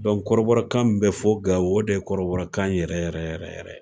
kɔrɔbɔrɔkan min bɛ fɔ Gao o de ye kɔrɔbɔrɔkan yɛrɛ yɛrɛ yɛrɛ.